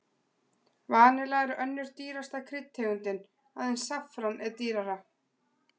Vanilla er önnur dýrasta kryddtegundin, aðeins saffran er dýrara.